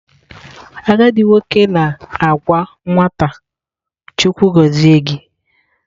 Agadi nwoke na-agwa nwata "" Chukwu gozie gi"."